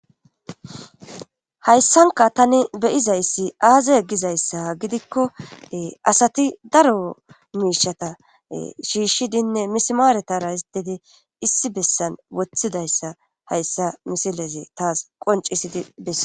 Hayssanka tani beyizayssi aaza gizayssa gidikko asati daro miishata shiishshidinne mismaaretara isdedi issi bessan woththidayssa hayssa misilezi taas qoncisidi bessa.